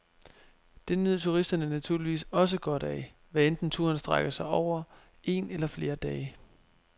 Det nyder turisterne naturligvis også godt af, hvad enten turen strækker sig over en eller flere dage.